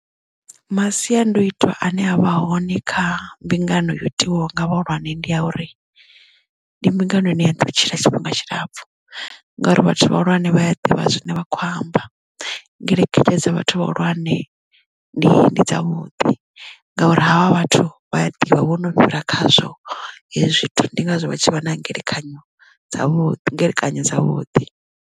Masiandoitwa ane avha hone kha mbingano yo itiwa nga vhahulwane ndi ya uri ndi mbingano ine ya ḓo tshila tshifhinga tshilapfu ngori vhathu vhahulwane vhaya ḓivha zwine vha kho amba ngeletshedzo dza vhathu vhahulwane ndi ndi dzavhuḓi ngauri havha vhathu vha a ḓivha vho no fhira khazwo hezwi zwithu ndi ngazwo vha tshi vha na ngelekanyo dzavhuḓi khethekanyo dzavhuḓi.